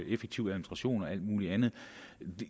effektiv administration og alt muligt andet